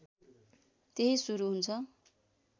त्यही सुरु हुन्छ